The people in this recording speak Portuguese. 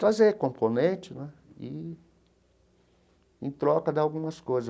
trazer componente né e em troca de algumas coisas.